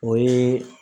O ye